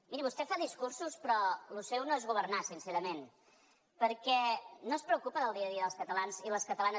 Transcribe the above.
miri vostè fa discursos però lo seu no és governar sincerament perquè no es preocupa del dia a dia dels catalans i les catalanes